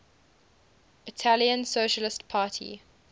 italian socialist party